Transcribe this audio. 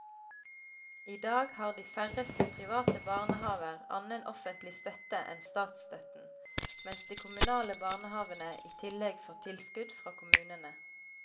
I dag har de færreste private barnehaver annen offentlig støtte enn statsstøtten, mens de kommunale barnehavene i tillegg får tilskudd fra kommunene.